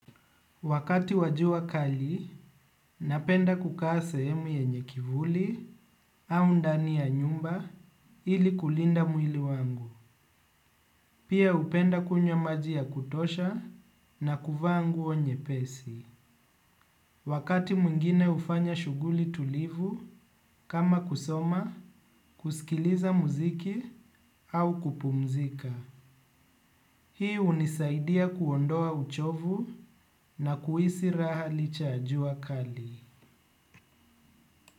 Wakati wa jua kali, napenda kukaa sehemu yenye kivuli au ndani ya nyumba ili kulinda mwili wangu. Pia hupenda kunywa maji ya kutosha na kuvaa nguo nyepesi. Wakati mwingine hufanya shughuli tulivu, kama kusoma, kusikiliza muziki au kupumzika. Hii hunisaidia kuondoa uchovu na kuhisi raha licha ya jua kali.